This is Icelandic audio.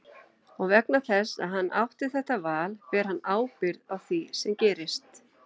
Og vegna þess að hann átti þetta val ber hann ábyrgð á því sem gerist.